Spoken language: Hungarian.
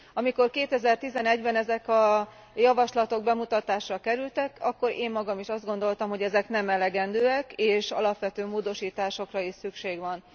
Amikor 2011 ben ezek a javaslatok bemutatásra kerültek, akkor én magam is azt gondoltam, hogy ezek nem elegendőek és alapvető módosításokra is szükség van.